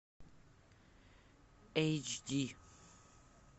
эйч ди